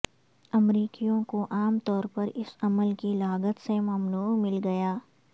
امریکیوں کو عام طور پر اس عمل کی لاگت سے ممنوع مل گیا